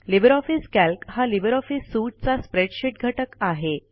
Libre office Calc हा LibreOffice suite चा spreadsheet घटक आहे